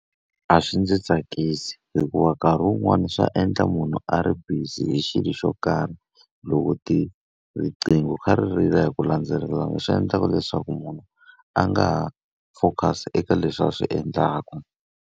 A swi ndzi tsakisi hikuva nkarhi wun'wani swa endla munhu a ri busy hi xilo xo karhi, loko riqingho ri kha ri rila hi ku landzelelana swi endlaka leswaku munhu a nga ha focus-i eka leswi a swi endlaku.